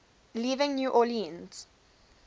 leaving new orleans